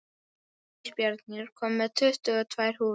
Ísbjörn, ég kom með tuttugu og tvær húfur!